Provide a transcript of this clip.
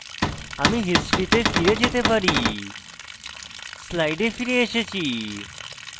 আমি history তে ফিরে যেতে পারি slide ফিরে এসেছি